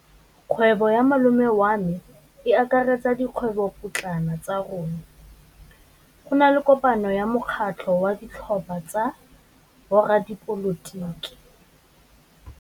Kgwêbô ya malome wa me e akaretsa dikgwêbôpotlana tsa rona. Go na le kopanô ya mokgatlhô wa ditlhopha tsa boradipolotiki.